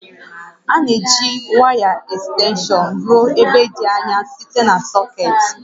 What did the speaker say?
A na-eji waya ekstenshọn ruo ebe dị anya site na sọkeetị